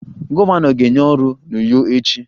Gọvanọ ga-enye ọrụ a n'Uyo echi